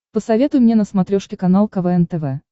посоветуй мне на смотрешке канал квн тв